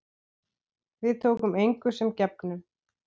Við tókum engu sem gefnu.